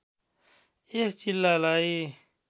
यस जिल्लालाई